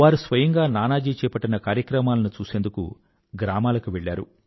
వారు స్వయంగా నానాజీ చేపట్టిన కార్యక్రమాలను చూసేందుకు గ్రామాలకు వెళ్ళారు